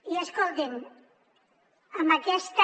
i escoltin en aquesta